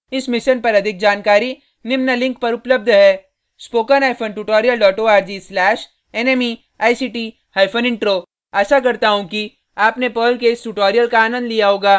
इस mission पर अधिक जानकारी निम्न लिंक पर उपलब्ध है